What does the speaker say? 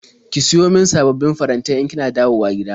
Ki siyo min sababbin farantai in kina dawowa gida.